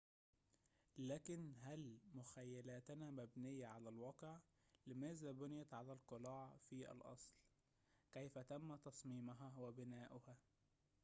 لكن هل مخيلتنا مبنية على الواقع لماذا بُنِيَت القلاع في الأصل كيف تم تصميمها وبناؤها